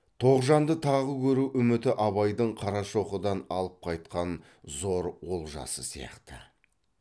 тоғжанды тағы көру үміті абайдың қарашоқыдан алып қайтқан зор олжасы сияқты